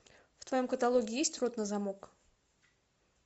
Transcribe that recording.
в твоем каталоге есть рот на замок